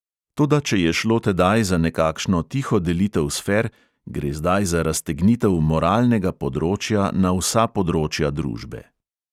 Toda če je šlo tedaj za nekakšno tiho delitev sfer, gre zdaj za raztegnitev moralnega področja na vsa področja družbe.